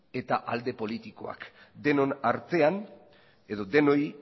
eta alde politikoak denon artean edo denoi